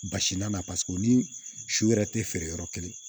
Basina na paseke o ni su yɛrɛ tɛ feere yɔrɔ kelen